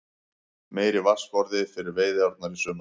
Meiri vatnsforði fyrir veiðiárnar í sumar